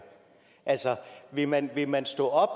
altså vil man vil man stå op